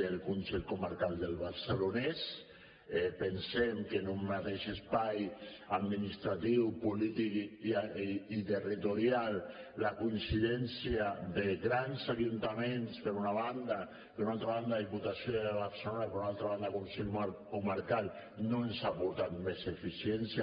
del consell comarcal del barcelonès pensem que en un mateix espai administratiu polític i territorial la coincidència de grans ajuntaments per una banda i per una altra banda diputació de barcelona i per una altra banda consell comarcal no ens ha aportat més eficiència